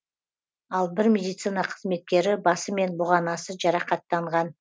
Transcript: ал бір медицина қызметкері басы мен бұғанасы жарақаттанған